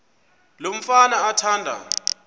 lo mfana athanda